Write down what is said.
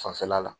Fanfɛla la